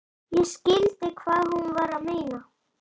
Ég skildi hvað hún var að meina.